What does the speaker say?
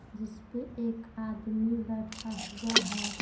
जिस पे एक आदमी बैठा हुआ है।